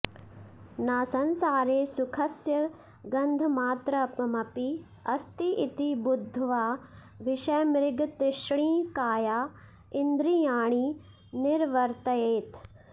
न संसारे सुखस्य गन्धमात्रमपि अस्ति इति बुद्ध्वा विषयमृगतृष्णिकाया इन्द्रियाणि निवर्तयेत्